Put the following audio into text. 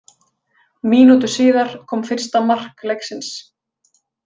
Mínútu síðar kom fyrsta mark leiksins.